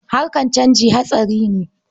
Harakar canji hatsari ne.